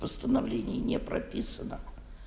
восстановление не прописано